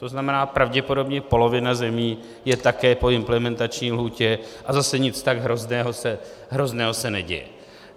To znamená, pravděpodobně polovina zemí je také po implementační lhůtě a zase nic tak hrozného se neděje.